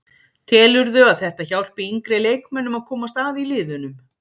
Telurðu að þetta hjálpi yngri leikmönnum að komast að í liðunum?